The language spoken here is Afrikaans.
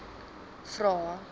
vvvvrae